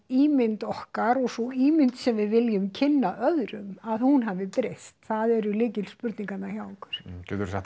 ímynd okkar og þá ímynd sem við viljum kynna öðrum að hún hafi breyst það eru lykilspurningarnar hjá okkur geturðu sagt